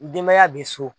Denbaya bɛ so